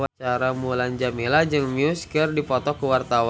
Mulan Jameela jeung Muse keur dipoto ku wartawan